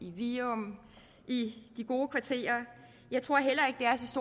i virum i de gode kvarterer